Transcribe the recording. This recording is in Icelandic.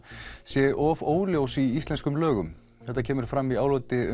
sé of óljós í íslenskum lögum þetta kemur fram í áliti